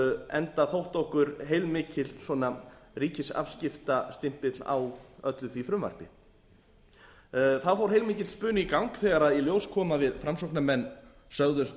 enda þótti okkur heilmikill ríkisafskiptastimpill á öllu því frumvarpi það fór heilmikill spuni í gang þegar í ljós kom að við framsóknarmanna sögðumst